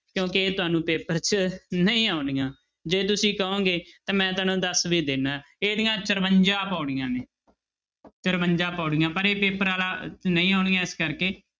ਕਿਉਂਕਿ ਇਹ ਤੁਹਾਨੂੰ ਪੇਪਰ 'ਚ ਨਹੀਂ ਆਉਣੀਆਂ ਜੇ ਤੁਸੀਂ ਕਹੋਗੇ ਤਾਂ ਮੈਂ ਤੁਹਾਨੂੰ ਦੱਸ ਵੀ ਦਿਨਾ ਇਹਦੀਆਂ ਚੁਰੰਜਾ ਪਾਉੜੀਆਂ ਨੇ ਚੁਰੰਜਾ ਪਾਉੜੀਆਂ ਪਰ ਇਹ ਪੇਪਰ ਵਾਲਾ ਨਹੀਂ ਆਉਣੀਆਂ ਇਸ ਕਰਕੇ